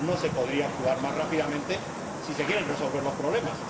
No se podría actuar más rápidamente si se quieren resolver los problemas.